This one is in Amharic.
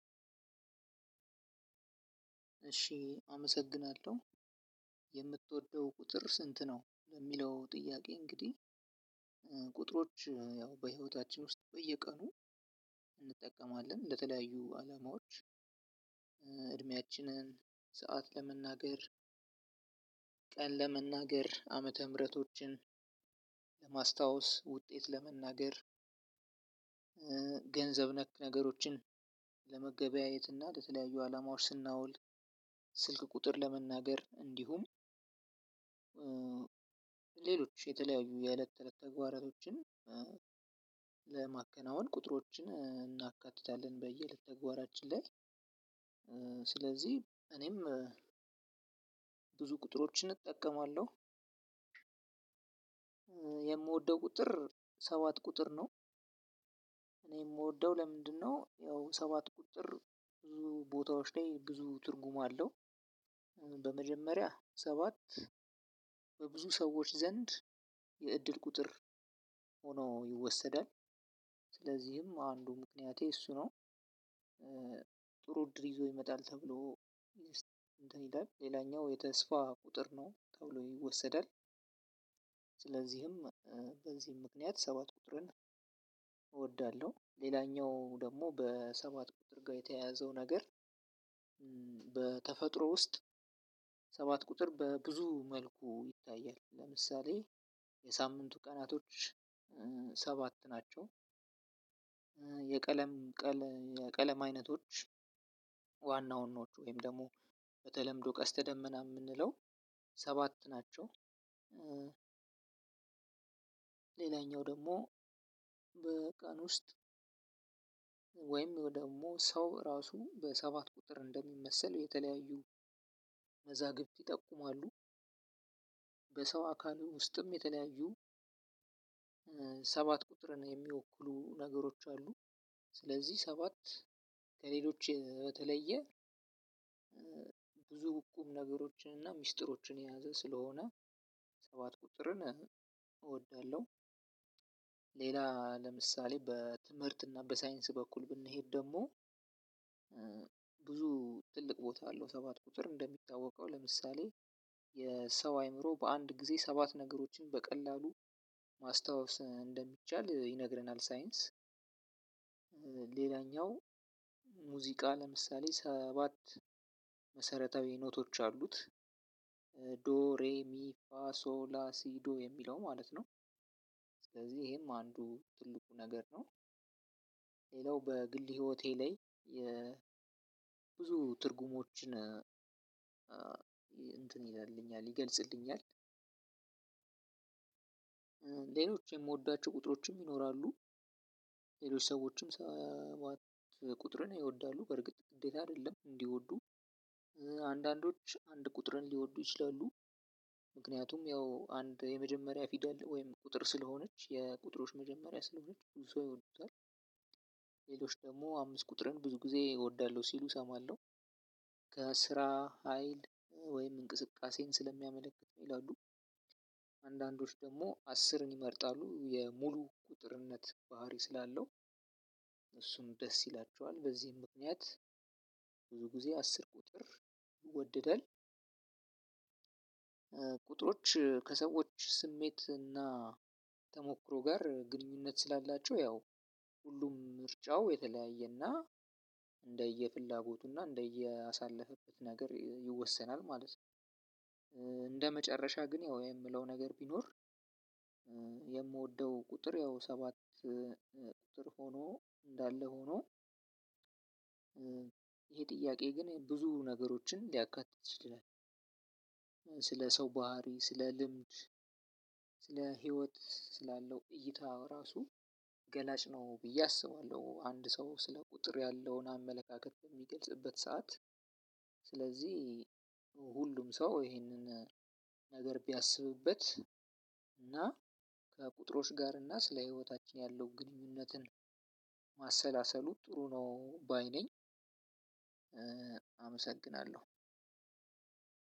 እሺ አመሰግናለሁ የምትወደው ቁጥር ስንት ነው ለሚለው ጥያቄ እንግዲህ። ቁጥሮች ያው በህይወታችን ውስጥ በየቀኑ እንጠቀማለን ለተለያዩ አላማዎች። እድሜያችንን ሰዓት ለመናገር። ቀን ለመናገር ዓመተ ምህረቶችን ለማስታወስ ውጤት ለመናገር። ገንዘብ ነክ ነገሮችን ለመገበያየት እና ከተለያዩ አላማዎች ስናውል። ስልክ ቁጥር ለመናገር እንዲሁም። ሌሎች የተለያዩ የእለት ተእለት ተግባሮችን ለማከናወን ቁጥሮችን እናካትታለን በየተግባራችን ላይ። ስለዚህ እኔም ቁጥሮችን እጠቀማለሁ። የምወደው ቁጥር ሰባት ቁጥር ነው። እኔ የምወደው ለምንድነው? ያው ሰባት ቁጥር ብዙ ቦታዎች ላይ ብዙ ትርጉም አለው። በመጀመሪያ ሰባት በብዙ ሰዎች ዘንድ የእድል ቁጥር ሆኖ ይወሰዳል። ስለዚህም አንዱ ምክንያቴ እሱ ነው። ጥሩ እድል ይዞ ይመጣል ተብሎ እንትን ይላል ሌላኛው የተስፋ ቁጥር ነው ተብሎ ይወሰዳል። ስለዚህም በዚህም ምክንያት ሰባት ቁጥርን እወዳለሁ። ሌላኛው ደግሞ በሰባት ቁጥር ጋር የተያያዘው ነገር። በተፈጥሮ ውስጥ ሰባት ቁጥር በብዙ መልኩ ይታያል ለምሳሌ የሳምንቱ ቀናቶች ሰባት ናቸው። የቀለም የቀለም አይነቶች ዋና ዋናዎቹ ወይም ደግሞ በተለምዶ ቀስተ ደመና የምንለው ሰባት ናቸው። ሌላኛው ደግሞ በቀን ውስጥ ወይም ደግሞ ሰው ራሱ በሰባት ቁጥር እንደሚመስል የተለያዩ መዛግብት ይጠቁማሉ። በሰው አካሉ ውስጥም የተለያዩ ሰባት ቁጥርን የሚወክሉ ነገሮች አሉ። ስለዚህ ሰባት ከሌሎች በተለየ ብዙ ቁም ነገሮችን እና ሚስጥሮችን የያዘ ስለሆነ ሰባት ቁጥርን እወዳለሁ። ሌላ ለምሳሌ በትምህርት እና በሳይንስ በኩል ብንሄድ ደግሞ። ትልቅ ቦታ አለው ሰባት ቁጥር እንደሚታወቀው ለምሳሌ የሰው አይምሮ በአንድ ጊዜ ሰባት ነገሮችን በቀላሉ ማስታወስ እንደሚቻል ይነግረናል ሳይንስ። ሌላኛው ሙዚቃ ለምሳሌ ሰባት መሰረታዊ ኖቶች አሉት። ዶሬሚፋሶላሲዶ የሚለው ማለት ነው። ስለዚህ ይሄም አንዱ ትልቁ ነገር ነው። ሌላው በግል ህይወቴ ላይ ብዙ ትርጉሞችን እንትን ይላልኛል ይገልጽልኛል። ሌሎች የምወዳቸው ቁጥሮችም ይኖራሉ። ሌሎች ሰዎችም ሰባት ቁጥርን ይወዳሉ በርግጥ እንዴት አይደለም እንዲወዱ። አንዳንዶች አንድ ቁጥርን ሊወዱ ይችላሉ። ምክንያቱም ያው አንድ የመጀመሪያ ፊደል ወይም ቁጥር ስለሆነች የቁጥሮች መጀመሪያ ስለሆነች ብዙ ሰው ይወዱታል። ሌሎች ደግሞ አምስት ቁጥርን ብዙ ጊዜ ይወዳሉ ሲሉ እሰማለሁ። ከስራ ሀይል ወይም እንቅስቃሴን ስለሚያመለክት ነው ይላሉ። አንዳንዶች ደግሞ አስርን ይመርጣሉ የሙሉ ቁጥርነት ባህሪ ስላለው። እሱም ደስ ይላቸዋል በዚህም ምክንያት ብዙ ጊዜ አስር ቁጥር ይወድዳል። ቁጥሮች ከሰዎች ስሜት እና ተሞክሮ ጋር ግንኙነት ስላላቸው ያው ሁሉም ምርጫው የተለያየና እንደየፍላጎቱና እንደየአሳለፈበት ነገር ይወሰናል ማለት ነው። እንደመጨረሻ ግን ያው የምለው ነገር ቢኖር። የምወደው ቁጥር ያው ሰባት ቁጥር ሆኖ እንዳለ ሆኖ። ይሄ ጥያቄ ግን ብዙ ነገሮችን ሊያካትት ይችላል። ስለሰው ባህሪ ስለልምድ ስለህይወት ስላለው እይታ ራሱ ገላጭ ነው ብዬ አስባለሁ። አንድ ሰው ስለ ቁጥር ያለውን አመለካከት የሚገልጽበት ሰዓት። ስለዚህ ሁሉም ሰው ይሄንን ነገር ቢያስብበት እና ከቁጥሮች ጋር እና ስለ ህይወታችን ያለው ግንኙነትን ማሰላሰሉ ጥሩ ነው ባይ ነኝ። አመሰግናለሁ።